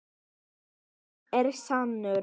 Minn hnefi er sannur.